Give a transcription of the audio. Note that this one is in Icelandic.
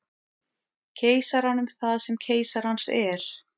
Keisaranum það sem keisarans er.